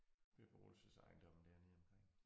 Beboelsesejendomme dernede omkring